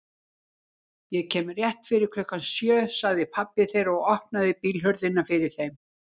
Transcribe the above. Ég kem rétt fyrir klukkan sjö sagði pabbi þeirra og opnaði bílhurðina fyrir þeim.